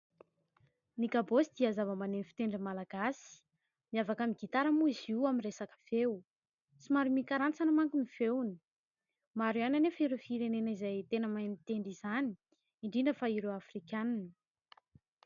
Ny kabaosy dia zava-maneno fitendrin'ny malagasy, miavaka amin'ny gitara moa izy io amin'ny reasaka feo, somary mikarantsana manko ny feony. Maro ihany anefa ireo firenena izay tena mahay mitendry izany indrindra fa ireo Afrikana.